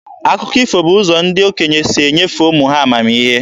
Akụkọ ifo bụ ụzọ ndị okenye si enyefe ụmụ ha amamihe.